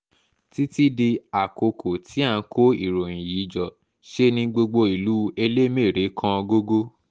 títí di àkókò tí à ń kó ìròyìn yìí jọ ṣe ní gbogbo ìlú elémère kan gógó